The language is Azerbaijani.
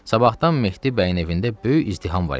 Sabahdan Mehdi bəyin evində böyük izdiham var idi.